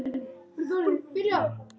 Þar var einnig fjöldi fólks.